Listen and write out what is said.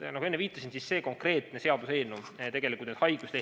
Nagu ma enne viitasin, see konkreetne seaduseelnõu tegelikult haiguslehti ei käsitle.